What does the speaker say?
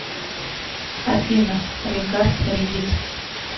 афина регард регит